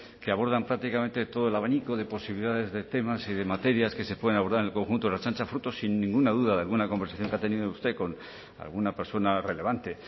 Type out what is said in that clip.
que abordan prácticamente todo el abanico de posibilidades de temas y de materias que se pueden abordar el conjunto de ertzaintza fruto sin ninguna duda de alguna conversación que ha tenido usted con alguna persona relevante